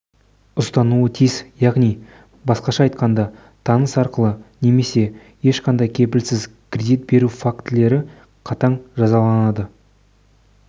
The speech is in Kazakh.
ұстануы тиіс яғни басқаша айтқанда таныс арқылы немесе ешқандай кепілсіз кредит беру фактілер қатаң жазаланады